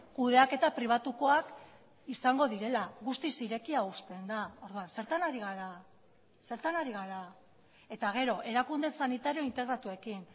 kudeaketa pribatukoak izango direla guztiz irekia uzten da orduan zertan ari gara zertan ari gara eta gero erakunde sanitario integratuekin